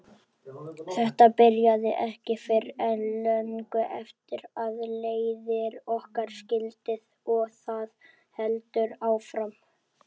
Þetta byrjaði ekki fyrr en löngu eftir að leiðir okkar skildi og það heldur áfram.